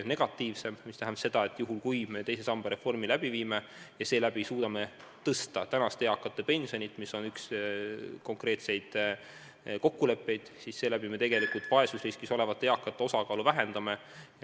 See tähendab seda, et kui me teise samba reformi läbi viime ja tänu sellele suudame tõsta tänaste eakate pensionit, mis on üks konkreetseid kokkuleppeid, siis me tegelikult vaesusriskis olevate eakate osakaalu vähendame.